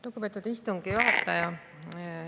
Lugupeetud istungi juhataja!